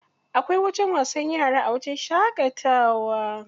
Akwai wajen wasan yara a wajen shaƙatawa.